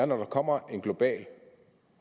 når der kommer en global